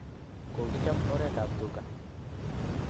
Kokichab oret ab tuka